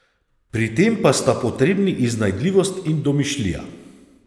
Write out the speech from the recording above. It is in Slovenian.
Pri tem pa sta potrebni iznajdljivost in domišljija.